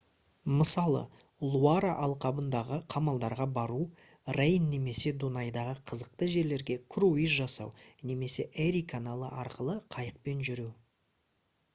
мысалы луара алқабындағы қамалдарға бару рейн немесе дунайдағы қызықты жерлерге круиз жасау немесе эри каналы арқылы қайықпен жүру